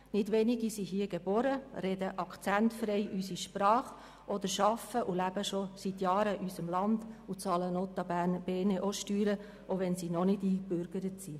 Nicht wenige Ausländerinnen und Ausländer sind hier geboren, sprechen akzentfrei unsere Sprache oder arbeiten und leben schon seit Jahren in unserem Land und bezahlen notabene Steuern, auch wenn sie nicht eingebürgert sind.